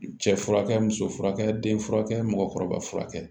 Cɛ furakɛ muso furakɛ den furakɛ mɔgɔkɔrɔba furakɛ